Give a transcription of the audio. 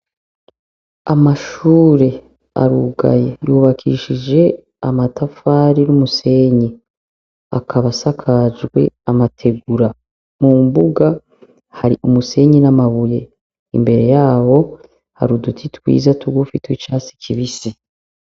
Amashure arugaye yubakishije amatafari n'umusenyi akaba asakajwe amategura. Mumbuga hari umusenyi n'amabuye. Imbere yaho har'uduti twiza tugufi tw'icatsi kibisi.